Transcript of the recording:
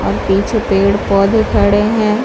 और पीछे पेड़-पौधे खड़े हैं।